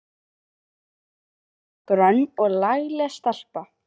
Þar sat grönn og lagleg stelpa.